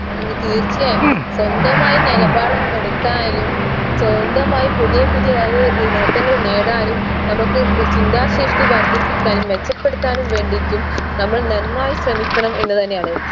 ഈ തീർച്ചയായും സ്വന്തമായ നിലപാടും എടുക്കാനും സ്വന്തമായി പുതിയ പുതിയ ആ ഒരു നേട്ടങ്ങൾ നേടാനും നമുക്ക് ഏർ ചിന്താശേഷി വർധിപ്പിക്കാനും മെച്ചപ്പെടുത്താനും വേണ്ടീറ്റും നമ്മൾ നന്നായി ശ്രമിക്കണം എന്നു തന്നെയാണ്